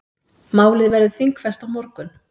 Málið verður þingfest á morgun.